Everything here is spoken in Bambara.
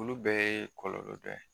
Olu bɛɛ ye kɔlɔlɔ dɔ ye